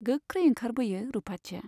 गोख्रै ओंखारबोयो रुपाथिया।